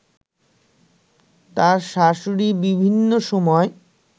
তার শাশুড়ি বিভিন্ন সময়